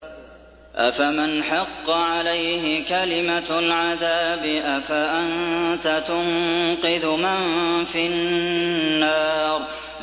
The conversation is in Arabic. أَفَمَنْ حَقَّ عَلَيْهِ كَلِمَةُ الْعَذَابِ أَفَأَنتَ تُنقِذُ مَن فِي النَّارِ